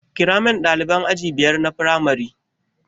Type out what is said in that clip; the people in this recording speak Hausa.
Kiramin ɗaliban aji biyar na firamare